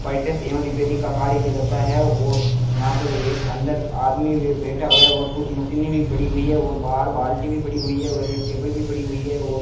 एवं रिपेयरिंग का कार्य किया जाता है और यहां पर अंदर एक आदमी भी बैठा हुआ है और कुछ मशीनें भी पड़ी हुई हैं और बाहर बाल्टी भी पड़ी हुई है और एक टेबल भी पड़ी हुई है और --